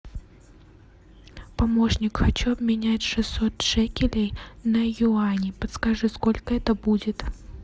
помощник хочу обменять шестьсот шекелей на юани подскажи сколько это будет